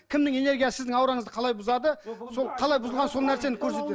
кімнің энергиясы сіздің аураңызды қалай бұзады сол қалай бұзылғанын сол нәрсені көрсетеді